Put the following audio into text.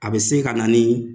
A bɛ se ka na ni